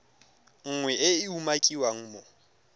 nngwe e e umakiwang mo